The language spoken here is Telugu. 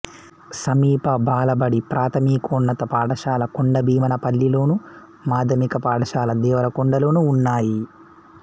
సమీప బాలబడి ప్రాథమికోన్నత పాఠశాల కొండభీమనపల్లిలోను మాధ్యమిక పాఠశాల దేవరకొండలోనూ ఉన్నాయి